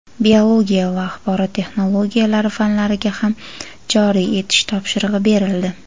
biologiya va axborot texnologiyalari fanlariga ham joriy etish topshirig‘i berildi.